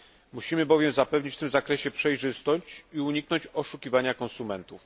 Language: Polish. Musimy bowiem zapewnić w tym zakresie przejrzystość i uniknąć oszukiwania konsumentów.